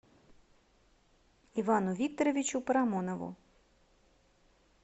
ивану викторовичу парамонову